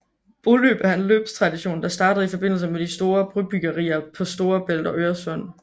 Broløb er en løbstradition der startede i forbindelse med de store brobyggerier på Storebælt og Øresund